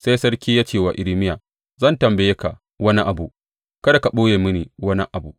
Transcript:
Sai sarki ya ce wa Irmiya, Zan tambaye ka wani abu, kada ka ɓoye mini wani abu.